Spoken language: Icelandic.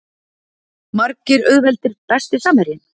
Margir auðveldir Besti samherjinn?